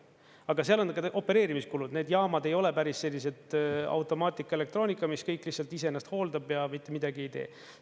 Aga seal on ka opereerimiskulud, need jaamad ei ole päris sellised automaatika, elektroonika, mis kõik lihtsalt iseennast hooldab ja mitte midagi ei tee.